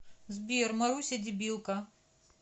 сбер маруся дебилка